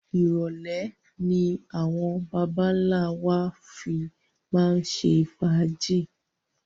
Irọ̀lẹ́ ni àwọn baba ńlá wa fi máa ń ṣe fàájì